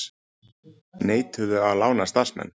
Neituðu að lána starfsmenn